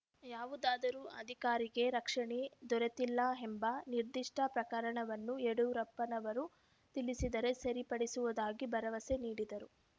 ಯಾವುದಾದರೂ ಅಧಿಕಾರಿಗೆ ರಕ್ಷಣೆ ದೊರೆತಿಲ್ಲ ಎಂಬ ನಿರ್ಧಿಷ್ಟ ಪ್ರಕರಣವನ್ನು ಯಡಿಯೂರಪ್ಪನವರು ತಿಳಿಸಿದರೆ ಸರಿಪಡಿಸುವುದಾಗಿ ಭರವಸೆ ನೀಡಿದರು